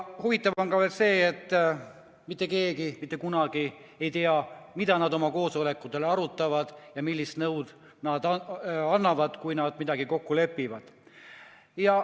Huvitav on veel see, et mitte keegi mitte kunagi ei tea, mida teadusnõukoja liikmed oma koosolekutel arutavad ja millist nõu annavad, kui nad midagi kokku lepivad.